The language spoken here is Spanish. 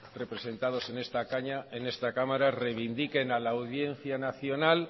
representados en esta cámara reivindiquen a la audiencia nacional